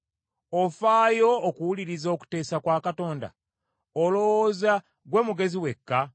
Ofaayo okuwuliriza okuteesa kwa Katonda? Olowooza gwe mugezi wekka?